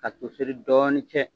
Ka toseri dɔɔnin cɛ.